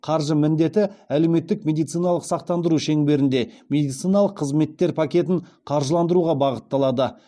қаржы міндеті әлеуметтік медициналық сақтандыру шеңберінде медициналық қызметтер пакетін қаржыландыруға бағытталады